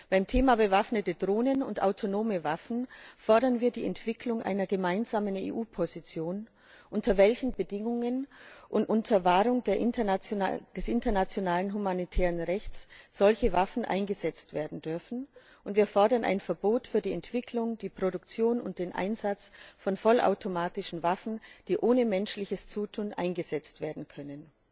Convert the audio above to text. Beim Thema Bewaffnete Drohnen und autonome Waffen fordern wir die Entwicklung einer gemeinsamen EU Position, unter welchen Bedingungen bei Wahrung des internationalen humanitären Rechts solche Waffen eingesetzt werden dürfen, und wir fordern ein Verbot für die Entwicklung, die Produktion und den Einsatz von vollautomatischen Waffen, die ohne menschliches Zutun eingesetzt werden können.